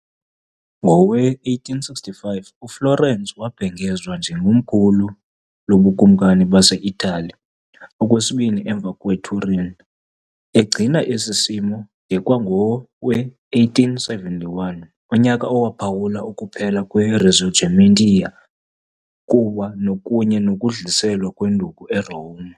Ngowe-1865, uFlorence wabhengezwa njengekomkhulu loBukumkani baseItali, okwesibini, emva kweTurin , egcina esi simo de kwangowe-1871, unyaka ophawula ukuphela kweRisorgimento kunye nokudluliselwa kwenduku eRome.